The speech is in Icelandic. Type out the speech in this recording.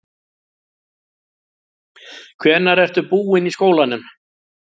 Hvenær ertu búinn í skólanum?